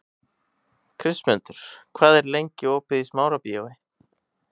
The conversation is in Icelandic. Kristmundur, hvað er lengi opið í Smárabíói?